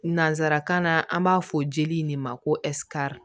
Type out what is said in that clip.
Nansarakan na an b'a fɔ jeli in de ma ko